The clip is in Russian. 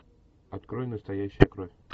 открой настоящая кровь